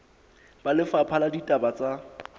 ba lefapha la ditaba tsa